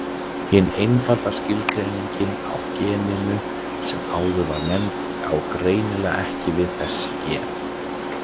Hin einfalda skilgreining á geninu sem áður var nefnd á greinilega ekki við þessi gen.